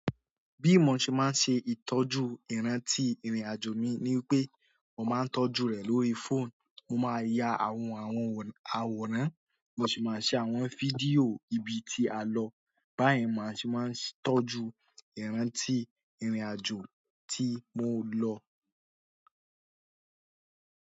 Bí mo ṣe máa ń ṣe ìtọ́jú ìrántí ìrìn-àjò mi ni pé mo máa ń tọ́jú rẹ̀ lórí fóònù. Mo máa ń ya àwọn àwòrán, mo sì máa ń ṣe àwọn fídíò ibi tí a lọ. Báyìí ni màá ṣe máa ń tọ́jú ìrántí ìrìn-àjò tí mò lọ.